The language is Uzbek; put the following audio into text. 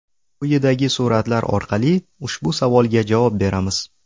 Quyidagi suratlar orqali ushbu savolga javob beramiz.